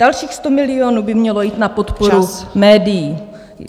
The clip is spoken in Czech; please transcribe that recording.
Dalších 100 milionů by mělo jít na podporu médií.